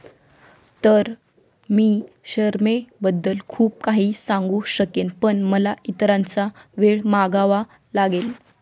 तर मी शरमेबद्दल खूप काही सांगू शकेन, पण मला इतरांचा वेळ मागावा लागेल.